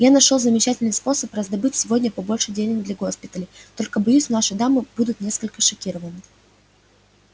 я нашёл замечательный способ раздобыть сегодня побольше денег для госпиталей только боюсь наши дамы будут несколько шокированы